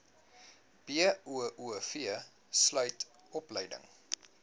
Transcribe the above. boov sluit opleiding